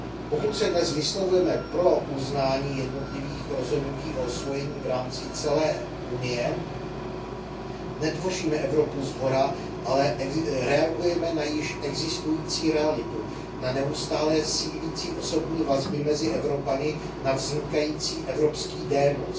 Pokud se dnes vyslovujeme pro uznání jednotlivých rozhodnutí o osvojení v rámci celé Unie, netvoříme Evropu shora, ale reagujeme na již existující realitu, na neustálé sílící osobní vazby mezi Evropany, na vznikající evropský démos.